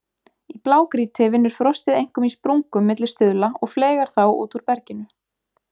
Í blágrýti vinnur frostið einkum í sprungum milli stuðla og fleygar þá út úr berginu.